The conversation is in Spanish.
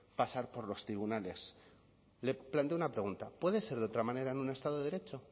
pasar por los tribunales le planteo una pregunta puede ser de otra manera en un estado de derecho